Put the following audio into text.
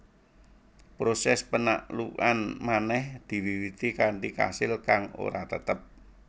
Proses panaklukan manèh diwiwiti kanthi kasil kang ora tetep